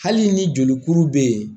Hali ni jolikuru bɛ ye